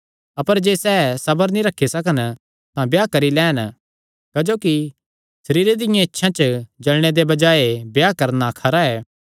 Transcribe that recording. अपर जे सैह़ सबर नीं रखी सकन तां ब्याह करी लैन क्जोकि सरीरे दियां इच्छां च जल़णे दे बजाये ब्याह करणा खरा ऐ